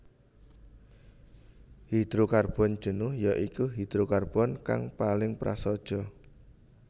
Hidrokarbon jenuh ya iku hidrokarbon kang paling prasaja